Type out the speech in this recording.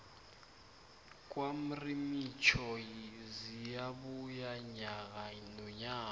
kwamrimitjho ziyabuya nyaka nonyaka